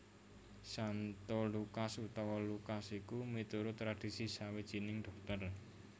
Santo Lukas utawa Lukas iku miturut tradhisi sawijining dhokter